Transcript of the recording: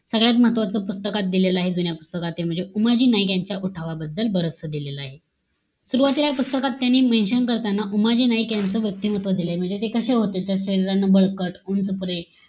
सगळ्यात महत्वाचं पुस्तकात दिलेलं आहे, जुन्या पुस्तकाते. म्हणजे, उमाजी नाईक यांच्या उठावांबद्दल बरंचसं दिलेलं आहे. सुरवातीला पुस्तकात त्यांनी mention करताना उमाजी नाईक यांचं व्यक्तिमत्व दिलय. म्हणजे ते कशे होते. शरीरानं बळकट, उंचपुरे,